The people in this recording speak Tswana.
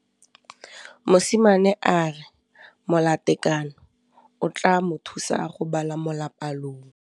Mosimane a re molatekanyô o tla mo thusa go bala mo molapalong.